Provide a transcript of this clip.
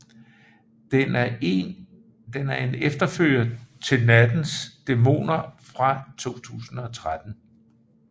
Den er en efterfølger til Nattens dæmoner fra 2013